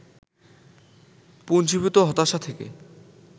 পুঞ্জীভূত হতাশা থেকে